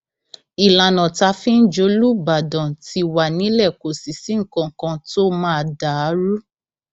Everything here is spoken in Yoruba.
ìlànà tá a fi ń jòlúbàdán ti wà nílẹ kò sì sí nǹkan kan tó máa dà á rú